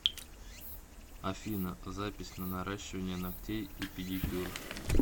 афина запись на наращивание ногтей и педикюр